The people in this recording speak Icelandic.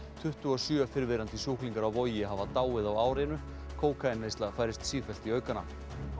tuttugu og sjö fyrrverandi sjúklingar á Vogi hafa dáið á árinu kókaínneysla færist sífellt í aukana